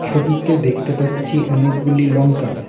ছবিতে দেখতে পাচ্ছি অনেকগুলি লঙ্কা।